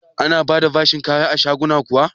Ana ba da bashin kaya a shaguna kuwa?